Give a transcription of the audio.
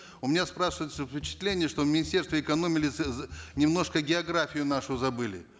у меня спрашивается впечатление что министерство немножко географию нашу забыли